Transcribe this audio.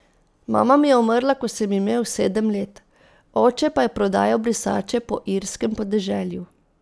Mama mi je umrla, ko sem imel sedem let, oče pa je prodajal brisače po irskem podeželju.